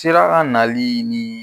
Sira nali ni